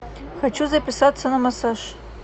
хочу записаться на массаж